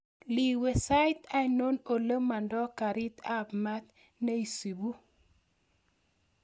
Iiwe sait ainon ole mondoo karit ap maat neisupu